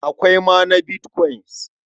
Akwai ma bitkwain.